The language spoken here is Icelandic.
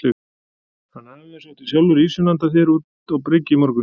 Hann afi þinn sótti sjálfur ýsuna handa þér út á bryggju í morgun.